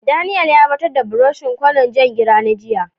Daniel ya batar da buroshin kwanan Jan gira na jiya.